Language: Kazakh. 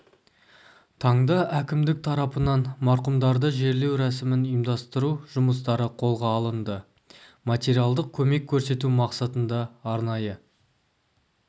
таңда әкімдік тарапынан марқұмдарды жерлеу рәсімін ұйымдастыру жұмыстары қолға алынды материалдық көмек көрсету мақсатында арнайы